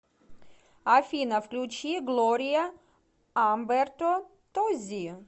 афина включи глория амберто тоззи